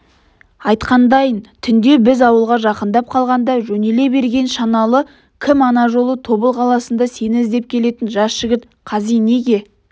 айтқандайын түнде біз ауылға жақындап қалғанда жөнеле берген шаналы кім ана жылы тобыл қаласында сені іздеп келетін жас жігіт қази неге